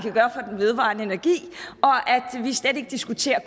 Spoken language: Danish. vedvarende energi og vi diskuterer